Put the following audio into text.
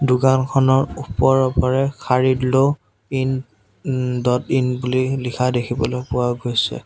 দোকানখনৰ ওপৰৰ পাৰে ইন ওম ডট ইন বুলি লিখা দেখিবলৈ পোৱা গৈছে।